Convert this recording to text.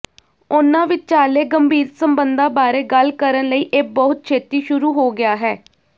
ਉਨ੍ਹਾਂ ਵਿਚਾਲੇ ਗੰਭੀਰ ਸਬੰਧਾਂ ਬਾਰੇ ਗੱਲ ਕਰਨ ਲਈ ਇਹ ਬਹੁਤ ਛੇਤੀ ਸ਼ੁਰੂ ਹੋ ਗਿਆ ਹੈ